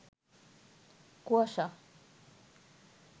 কুয়াশা